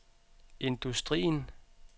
industrien